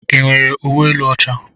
Ị nwere uwe elu ọcha?